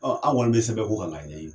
Ɔn aw kɔni be sɛbɛn ko kan ka ɲɛɲini .